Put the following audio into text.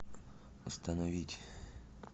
остановить